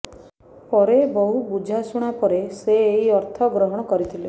ପରେ ବହୁ ବୁଝାଶୁଝା ପରେ ସେ ଏହି ଅର୍ଥ ଗ୍ରହଣ କରିଥିଲେ